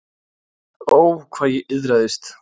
Ó, hvað ég iðraðist.